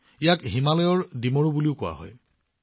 ইয়াক হিমালয়ৰ ফিগ বুলিও কোৱা হয়